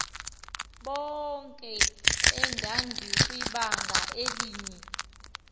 bonke endandikwibanga elinye